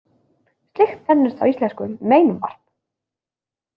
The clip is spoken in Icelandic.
Slíkt nefnist á íslensku meinvarp.